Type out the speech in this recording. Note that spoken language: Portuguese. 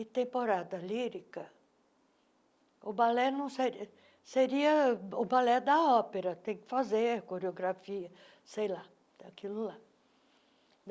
E temporada lírica, o balé não seria... Seria o balé da ópera, tem que fazer coreografia, sei lá, daquilo lá.